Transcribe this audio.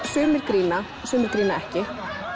sumir grína og sumir grína ekki en